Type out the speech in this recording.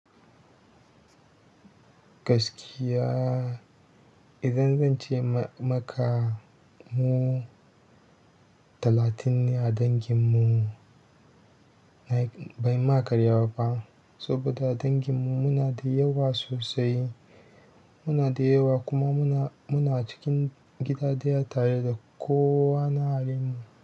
Gaskiya idan zan ce maka mu talatin ne a danginmu, ban ma karya ba fa saboda danginmu muna da yawa sosai. Muna da yawa kuma muna cikin gida ɗaya tare da kowa na yaren mu.